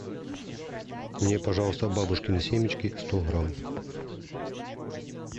мне пожалуйста бабушкины семечки сто грамм